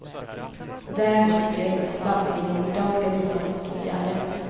Däremot tycker jag inte att landstingen idag skall vidta motåtgärder.